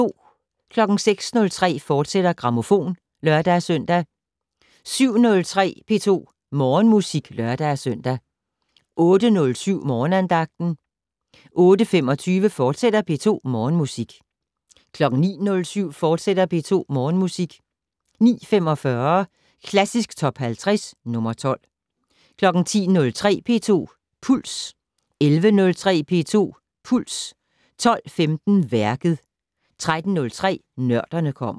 06:03: Grammofon, fortsat (lør-søn) 07:03: P2 Morgenmusik (lør-søn) 08:07: Morgenandagten 08:25: P2 Morgenmusik, fortsat 09:07: P2 Morgenmusik, fortsat 09:45: Klassisk Top 50 - nr. 12 10:03: P2 Puls 11:03: P2 Puls 12:15: Værket 13:03: Nørderne kommer